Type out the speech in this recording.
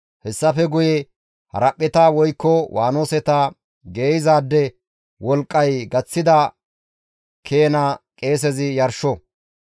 Hessafe guye haraphpheta woykko waanoseta geeyzaade wolqqay gaththida keena qeesezi yarsho.